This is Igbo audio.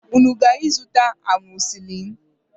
Unu gara ịzụta amọzisilin?